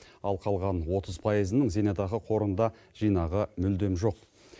ал қалған отыз пайызының зейнетақы қорында жинағы мүлдем жоқ